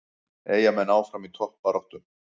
Eyjamenn áfram í toppbaráttu